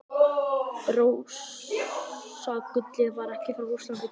Rússagullið var ekki frá Rússlandi komið.